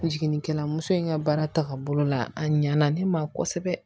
Jiginnikɛla muso in ka baara tagabolo la a ɲɛna ne ma kosɛbɛ